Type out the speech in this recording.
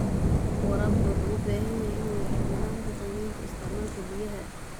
Waraabka wuxuu u baahan yahay inuu yeesho nidaamka qiimaynta isticmaalka biyaha.